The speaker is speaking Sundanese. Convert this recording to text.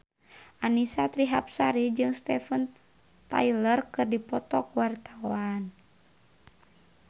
Annisa Trihapsari jeung Steven Tyler keur dipoto ku wartawan